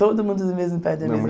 Todo mundo do mesmo pai e da mesma